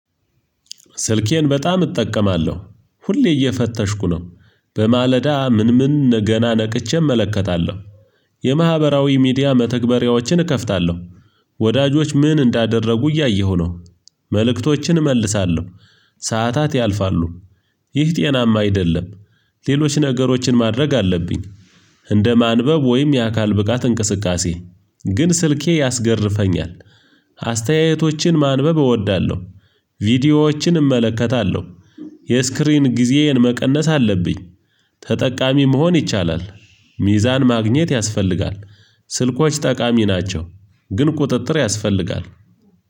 ስልኬን በጣም እጠቀማለሁ ሁሌ እየፈተሽኩ ነው። በማለዳ ምን ምን ገና ነቅቼ እመለከታለሁ የማህበራዊ ሚዲያ መተግበሪያዎችን እከፍታለሁ፤ ወዳጆች ምን እንዳደረጉ እያየሁ ነው። መልእክቶችን እመልሳለሁ። ሰዓታት ያልፋሉ። ይህ ጤናማ አይደለም። ሌሎች ነገሮችን ማድረግ አለብኝ። እንደ ማንበብ ወይም የአካል ብቃት እንቅስቃሴ ግን ስልኬ ያስገርፈኛል አስተያየቶችን ማንበብ እወዳለሁ። ቪዲዮዎችን እመለከታለሁ። የስክሪን ጊዜዬን መቀነስ አለብኝ። ተጠቃሚ መሆን ይቻላል። ሚዛን ማግኘት ያስፈልጋል። ስልኮች ጠቃሚ ናቸው፤ ግን ቁጥጥር ያስፈልጋል።